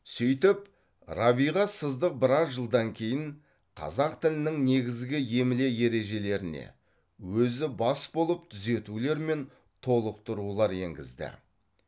сөйтіп рабиға сыздық біраз жылдан кейін қазақ тілінің негізгі емле ережелеріне өзі бас болып түзетулер мен толықтырулар енгізді